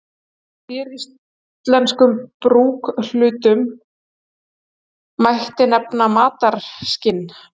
Af séríslenskum brúkshlutum mætti nefna mataraskinn.